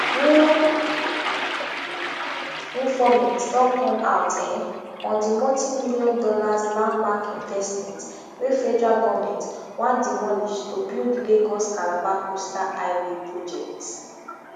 new informate don come out um on di multimillion dollars landmark investment wey federal goment wan demolish to build lagoscalabar coastal highway project